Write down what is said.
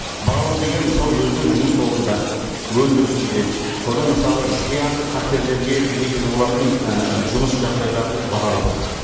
бағалау деген мысалы өзінің жұмыс орнында өндірісінде сонда мысалы зиянды қатерлерге негіз болатын і жұмыс жағдайларын бағалау